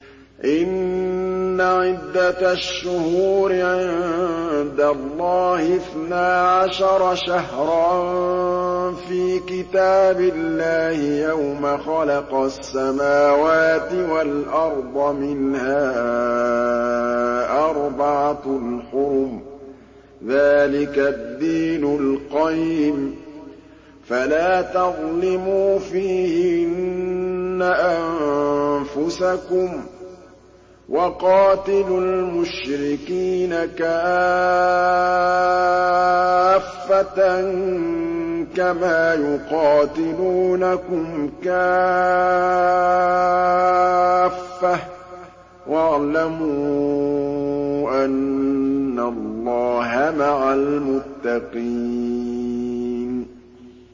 إِنَّ عِدَّةَ الشُّهُورِ عِندَ اللَّهِ اثْنَا عَشَرَ شَهْرًا فِي كِتَابِ اللَّهِ يَوْمَ خَلَقَ السَّمَاوَاتِ وَالْأَرْضَ مِنْهَا أَرْبَعَةٌ حُرُمٌ ۚ ذَٰلِكَ الدِّينُ الْقَيِّمُ ۚ فَلَا تَظْلِمُوا فِيهِنَّ أَنفُسَكُمْ ۚ وَقَاتِلُوا الْمُشْرِكِينَ كَافَّةً كَمَا يُقَاتِلُونَكُمْ كَافَّةً ۚ وَاعْلَمُوا أَنَّ اللَّهَ مَعَ الْمُتَّقِينَ